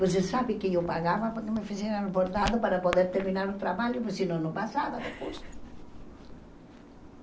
Você sabe que eu pagava porque me fizeram bordado para poder terminar o trabalho, senão não passava no curso.